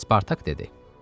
Spartak dedi: